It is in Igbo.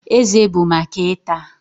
Eze bụ maka ịta